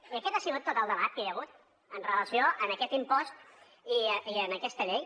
i aquest ha sigut tot el debat que hi ha hagut amb relació a aquest impost i a aquesta llei